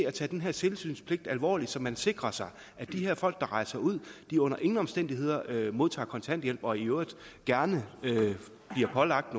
at tage den her tilsynspligt alvorligt så man sikrer sig at de her folk der rejser ud under ingen omstændigheder modtager kontanthjælp og i øvrigt gerne bliver pålagt